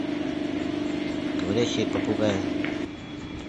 говорящие попугаи